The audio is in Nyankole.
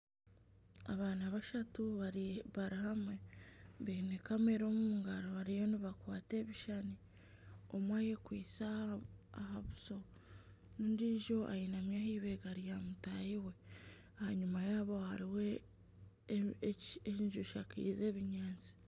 Abaana bashatu bari hamwe baine kamera omu ngaro bariyo nibwata ebishushani, omwe ayekwitse aha buso n'ondiijo eyegami aha ibeega rya mutaahi we, aha nyima yaabo hariho enju eshakaize ebinyaatsi